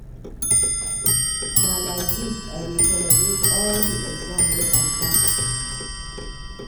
Na lai dis I dey celebrate all di exam wey I pass.